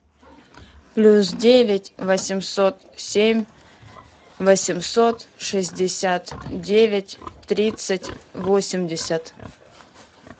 плюс девять восемьсот семь восемьсот шестьдесят девять тридцать восемьдесят